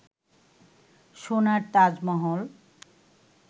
সোনার তাজমহল